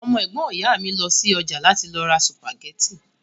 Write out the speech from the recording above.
Ọmọ ẹ̀gbọ́n ìyá mi lọ sí ọjà láti lọ ra sùpàgẹ́tì